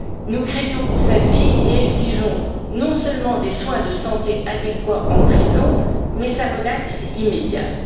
Nous craignons pour sa vie et exigeons, non seulement des soins de santé adéquats en prison, mais sa relaxe immédiate.